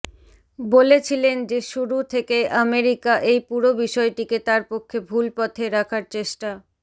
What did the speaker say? বলেছিলেন যে শুরু থেকেই আমেরিকা এই পুরো বিষয়টিকে তার পক্ষে ভুল পথে রাখার চেষ্টা